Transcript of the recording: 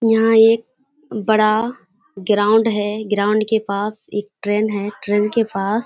यहाँ एक बड़ा ग्राउंड हैं ग्राउंड के पास एक ट्रेन है ट्रेन के पास --